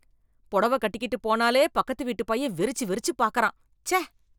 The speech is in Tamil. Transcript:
பொடவ கட்டிக்கிட்டு போனாலே பக்கத்து வீட்டுப் பையன் வெறிச்சு வெறிச்சு பாக்குறான், ச்சே.